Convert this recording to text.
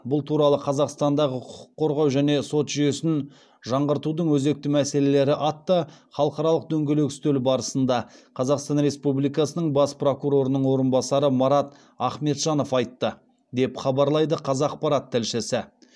бұл туралы қазақстандағы құқық қорғау және сот жүйесін жаңғыртудың өзекті мәселелері атты халықаралық дөңгелек үстел барысында қазақстан республикасының бас прокурорының орынбасары марат ахметжанов айтты деп хабарлайды қазақпарат тілшісі